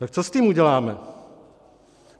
Tak co s tím uděláme?